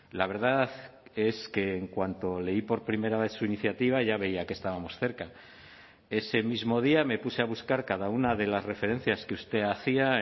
la verdad es que en cuanto leí por primera vez su iniciativa ya veía que estábamos cerca ese mismo día me puse a buscar cada una de las referencias que usted hacía